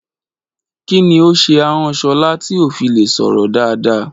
Kí ni ó ṣe ahọ́n Ṣọlá tí kò fi lè sọ̀rọ̀ dáadáa?